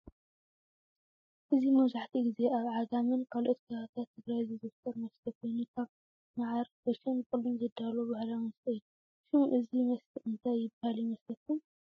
እዚ መብዘሐትኡ ጊዜ አብ ዓጋመን ካልኦት ከባብታት ትግራይ ዝዝውተር መስተ ኮይኑ ካብ መዓር፣ ጎሾን ብቁልን ዝዳለው ባህላዊ መስተ እዩ። ሽም እዚ መስተ እንታይ ዝበሃል ይመስለኩም?